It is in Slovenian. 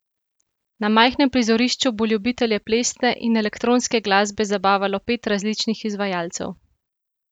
Na majhnem prizorišču bo ljubitelje plesne in elektronske glasbe zabavalo pet različnih izvajalcev.